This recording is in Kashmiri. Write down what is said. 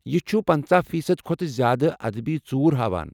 یہِ چھُ پنٕژہ فی صد کھۄتہٕ زیادٕ ادبی ژوٗر ہاوان